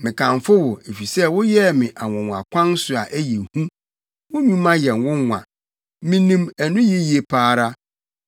Mekamfo wo, efisɛ woyɛɛ me anwonwakwan so a ɛyɛ hu; wo nnwuma yɛ nwonwa. Minim ɛno yiye pa ara.